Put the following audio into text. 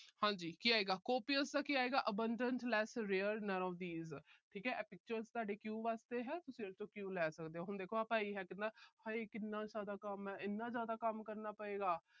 ਹਾਂਜੀ। ਕੀ ਆਏਗਾ। copious ਦਾ ਕੀ ਆਏਗਾ। abandon less rare none of these ਠੀਕ ਹੈ। ਇਹ pictures ਤੁਹਾਡੇ cue ਵਾਸਤੇ ਹੈ। ਤੁਸੀਂ ਇਸ ਚੋਂ cue ਲੈ ਸਕਦੇ ਹੋ। ਹੁਣ ਦੇਖੋ ਭਈਆ ਕਹਿੰਦਾ ਹਾਏ ਕਿੰਨਾ ਜਿਆਦਾ ਕੰਮ ਹੈ। ਇੰਨਾ ਜਿਆਦਾ ਕੰਮ ਕਰਨਾ ਪਏਗਾ।